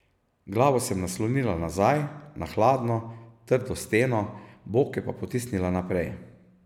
Glavo sem naslonila nazaj, na hladno, trdo steno, boke pa potisnila naprej.